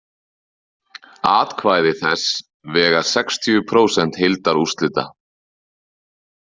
Atkvæði þess vega sextíu prósent heildarúrslita.